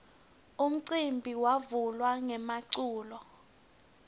umcimbi wavula ngemaculo